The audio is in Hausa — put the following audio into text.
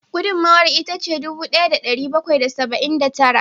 Gudunmawar ita ce dubu daya da dari bakwai da saba'in da tara